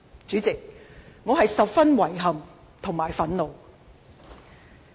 主席，我感到十分遺憾和憤怒。